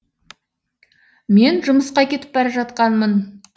мен жұмысқа кетіп бара жатқанмын